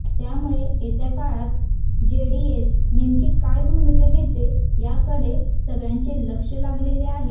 त्यामुळे येत्या काळात जेडीएस नेमकी काय भूमिका घेते याकडे सगळ्यांचे लक्ष लागले आहे